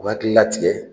U hakili la tigɛ